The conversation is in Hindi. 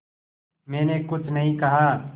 मैंने कुछ नहीं कहा